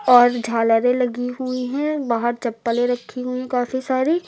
और झालरे लगी हुई हैं बाहर चप्पले रखी हुई काफी सारी।